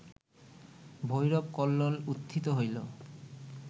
ভৈরব কল্লোল উত্থিত হইল